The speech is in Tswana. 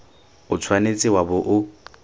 o tshwanetse wa bo o